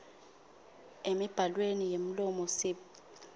emibhalweni yemlomo sib